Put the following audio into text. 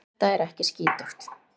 Þetta er ekki skítugt.